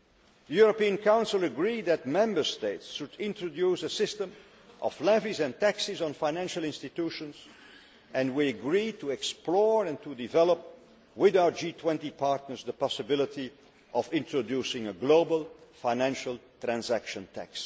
The European Council agreed that Member States should introduce a system of levies and taxes on financial institutions and we agree to explore and to develop with our G20 partners the possibility of introducing a global, financial, transaction tax.